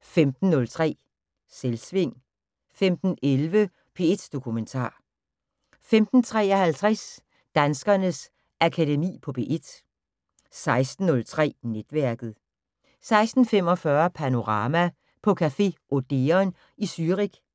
15:03: Selvsving 15:11: P1 Dokumentar 15:53: Danskernes Akademi på P1 16:03: Netværket 16:45: Panorama: På café Odeon i Zürich,